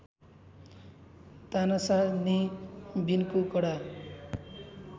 तानाशाह ने विनको कडा